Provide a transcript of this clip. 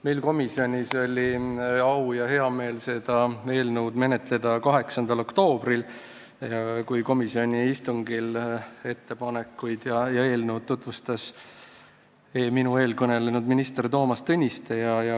Meil komisjonis oli au ja hea meel seda eelnõu menetleda 8. oktoobril, kui komisjoni istungil eelnõu ja ettepanekuid tutvustas minu eel kõnelenud minister Toomas Tõniste.